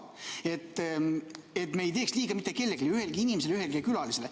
Siis me ei teeks liiga mitte kellelegi, ühelegi inimesele ega ühelegi külalisele.